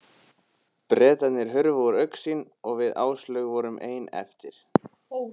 Bretarnir hurfu úr augsýn og við Áslaug vorum ein eftir.